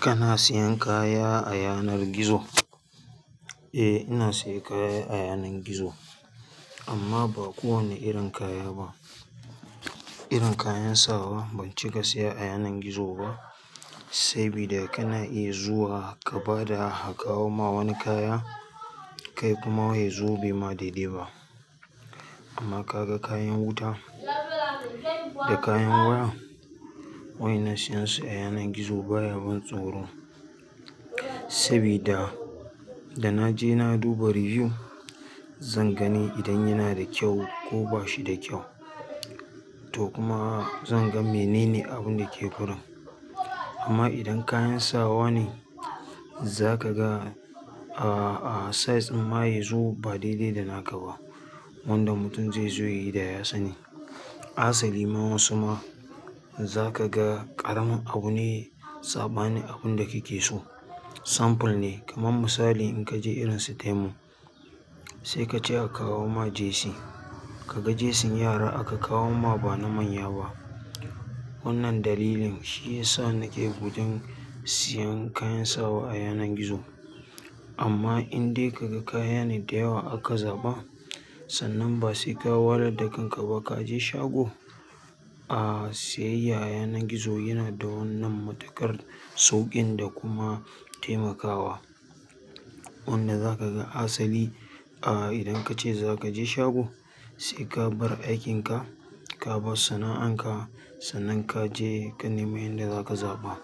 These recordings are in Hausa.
Kana siyan kaya a yanar gizo? Eh ina siyan kaya a yanar gizo amma ba kowane irin kaya ba. Irin kayan sawa ban cika siya a yanar gizo ba, saboda kana iya zuwa ka bada a kawo ma wani kaya kai kuma yazo bai ma daidai ba. Amma kaga kayan wuta da kayan waya waƴannan siyan su a yanar gizo baya ban tsoro, sabida da naje na duba riyu zan gani idan yana da kyau ko bashida kyau to kuma zan ga menene abun dake wurin. Amma idan kayan sawa ne zaka ga a-a size ɗin ma yazo ba daidai da naka ba. Wanda mutum zai zo yayi da ya sani. Hasali ma wasu ma zaka ga ƙaramin abu ne saɓanin abun da kake so. Sample ne kamar misali in kaje irin su Temu sai kace a kawo ma jesi. Kaga jesin yara aka kawo ma ba na manya ba. Wannan dalilin shi yasa nake gudun siyan kayan sawa a yanar gizo. Amma in dai kaga kaya ne da yawa harka zaɓa, sannan ba sai ka wahalar da kan ka ba kaje shago, a siyayya a yanar gizo yana da wannan matuƙar sauƙin da kuma taimakawa. Wanda zaka ga hasali a idan kace zakaje shago sai ka bar aikin ka, ka bar sana'an ka sannan kaje ka nemi inda zaka zaɓa.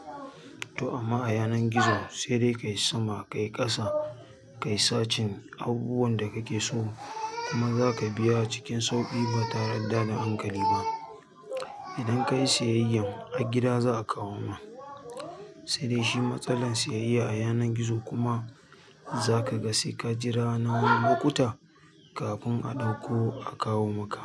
To amma a yanar gizo sai dai kayi sama kayi ƙasa kayi sacin abubuwan da kake so kuma zaka biya acikin sauƙi ba tare da tada hankali ba. Idan kayi siyayyan har gida za a kawo ma. Sai dai shi matsalar siyayya a yanar gizo kuma zaka ga sai ka jira na wani lokuta kafin a ɗauko a kawo maka.